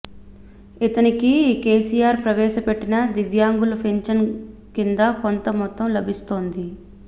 ఇతనికి కేసిఆర్ ప్రవేశపెట్టిన దివ్యాంగుల పింఛన్ కింద కొంత మొత్తం లభిస్తోంది